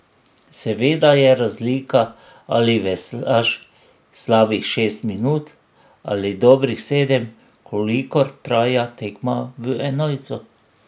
Seveda je razlika, ali veslaš slabih šest minut ali dobrih sedem, kolikor traja tekma v enojcu.